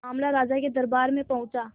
मामला राजा के दरबार में पहुंचा